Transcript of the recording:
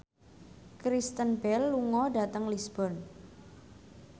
Kristen Bell lunga dhateng Lisburn